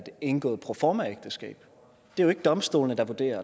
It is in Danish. indgået et proformaægteskab det er jo ikke domstolene der vurderer